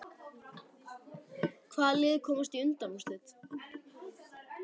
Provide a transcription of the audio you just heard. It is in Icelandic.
Hvaða lið komast í undanúrslit?